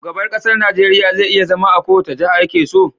Shugaban ƙasar Nigeria je iya zama a kowace jaha yakeso